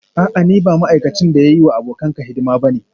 A'a ni ba ma'aikacin da ya yi wa abokanka hidima ba ne